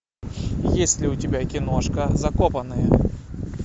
есть ли у тебя киношка закопанные